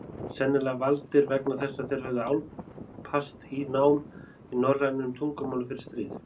Sennilega valdir vegna þess að þeir höfðu álpast í nám í norrænum tungumálum fyrir stríð.